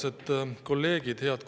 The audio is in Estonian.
Auväärsed kolleegid!